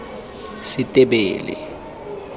setebele